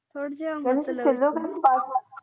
ਸੁਜਾਯਾ